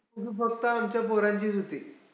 ती फक्त आमच्या पोरांचीच होती.